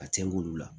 A cɛn k'olu la